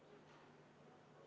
V a h e a e g